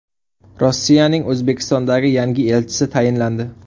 Rossiyaning O‘zbekistondagi yangi elchisi tayinlandi.